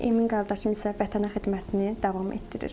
Emin qardaşım isə vətənə xidmətini davam etdirir.